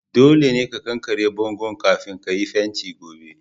Dolle ka ƙanƙare bongon'kafin ka yi fentin gobe.